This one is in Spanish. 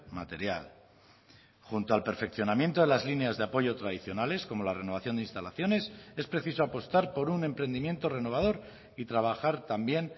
material junto al perfeccionamiento de las líneas de apoyo tradicionales como la renovación de instalaciones es preciso apostar por un emprendimiento renovador y trabajar también